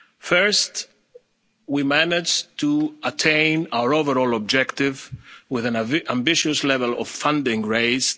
level. First, we managed to attain our overall objective with an ambitious level of funding